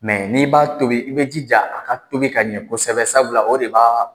n'i b'a tobi i bɛ jija a ka tobi ka ɲɛ kosɛbɛ o de b'a